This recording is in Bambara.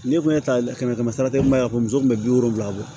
N'i kun ye ta kɛmɛ kɛmɛ sara i kun b'a fɔ muso kun bi wolonwula bɔ